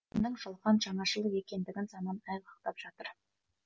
кімнің жалған жаңашыл екендігін заман айғақтап жатыр